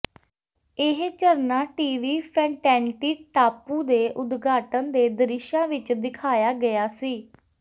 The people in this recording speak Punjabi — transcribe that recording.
ਇਹ ਝਰਨਾ ਟੀਵੀ ਫੈਨਟੈਨਟੀ ਟਾਪੂ ਦੇ ਉਦਘਾਟਨ ਦੇ ਦ੍ਰਿਸ਼ਾਂ ਵਿੱਚ ਦਿਖਾਇਆ ਗਿਆ ਸੀ